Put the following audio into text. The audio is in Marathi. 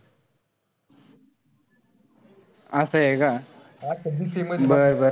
असंय का. बरं-बरं.